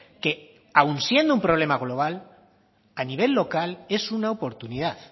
que aun siendo un problema global a nivel local es una oportunidad